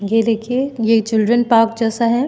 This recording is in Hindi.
ये देखिए ये चिल्ड्रन पार्क जैसा हैं।